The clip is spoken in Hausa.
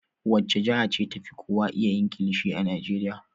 Wace jiha ce ta fi kowa iya yin kilishi a Najeriya?